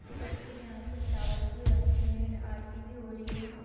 देख सकते है यहाँ पर फ्लावर भी रखी है आरती भी हो रही है ।